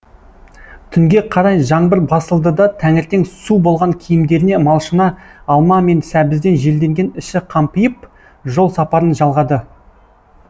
түнге қарай жаңбыр басылды да таңертең су болған киімдеріне малшына алма мен сәбізден желденген іші қампиып жол сапарын жалғады